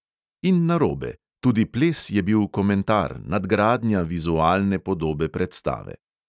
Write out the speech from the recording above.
In narobe: tudi ples je bil komentar, nadgradnja vizualne podobe predstave.